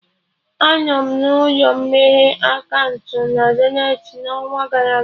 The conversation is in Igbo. Anọ m n'ụlọ meghe akaụntụ na Zenith n'ọnwa gara aga